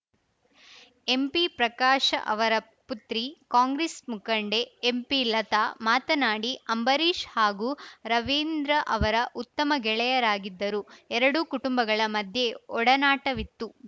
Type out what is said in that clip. ಎಂಪಿಪ್ರಕಾಶ ಅವರ ಪುತ್ರಿ ಕಾಂಗ್ರೆಸ್‌ ಮುಖಂಡೆ ಎಂಪಿಲತಾ ಮಾತನಾಡಿ ಅಂಬರೀಷ್‌ ಹಾಗೂ ರವೀಂದ್ರ ಅವರ ಉತ್ತಮ ಗೆಳೆಯರಾಗಿದ್ದರು ಎರಡೂ ಕುಟುಂಬಗಳ ಮಧ್ಯೆ ಒಡನಾಟವಿತ್ತು